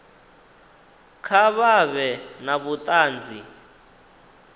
kha vha vhe na vhutanzi